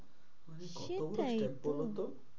কত সেটাই তো?